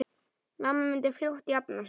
Mamma myndi fljótt jafna sig.